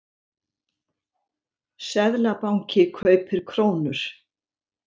Seðlabanki kaupir krónur